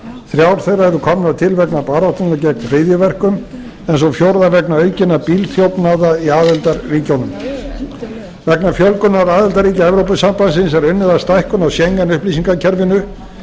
þrjár þeirra eru komnar til vegna baráttunnar gegn hryðjuverkum en sú fjórða vegna aukinna bílþjófnaða í aðildarríkjunum vegna fjölgunar aðildarríkja evrópusambandsins er unnið að stækkun á schengen upplýsingakerfinu